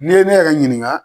N'i ye ne yɛrɛ ɲininka